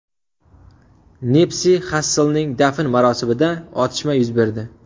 Nipsi Xasslning dafn marosimida otishma yuz berdi.